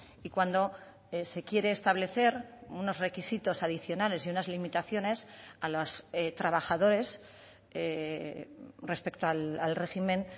y cuando se quiere establecer unos requisitos adicionales y unas limitaciones a los trabajadores respecto al régimen